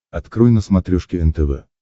открой на смотрешке нтв